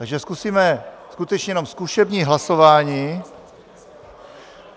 Takže zkusíme skutečně jenom zkušební hlasování.